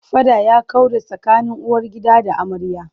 Faɗa ya kaure tsakanin uwargida da amarya.